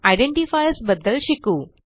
identifiers बद्दल शिकू